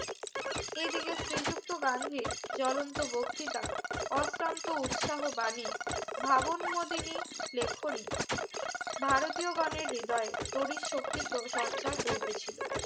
এই দিকে শ্রীযুক্ত গান্ধীর জ্বলন্ত বক্তিতা অসার্ন্ত উৎসাহ বানী ভাবন মদিনী লেখনী ভারতীয় গনের হ্রদয়ে তরিন শক্তি প্র সঞ্চার করিতেছিলো